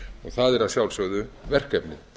það er að sjálfsögðu verkefnið